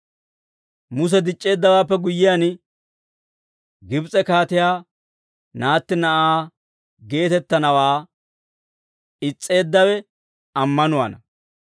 Muse dic'c'eeddawaappe guyyiyaan, Gibs'e kaatiyaa naatti na'aa geetettanawaa is's'eeddawe ammanuwaana.